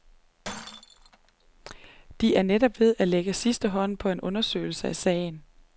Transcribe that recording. De er netop ved at lægge sidste hånd på en undersøgelse af sagen.